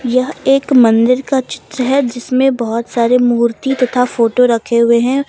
यह एक मंदिर का चित्र है जिसमें बहुत सारे मूर्ति तथा फोटो रखे हुए हैं।